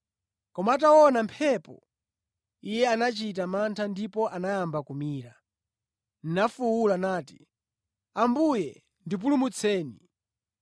Koma ataona mphepo, iye anachita mantha ndipo anayamba kumira, nafuwula nati, “Ambuye ndipulumutseni!”